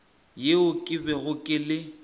yeo ke bego ke le